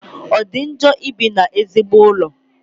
O di njọ ibi n'ezigbo ụlọ?